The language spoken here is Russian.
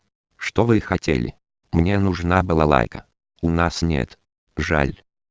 аа